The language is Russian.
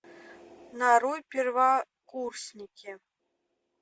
нарой первокурсники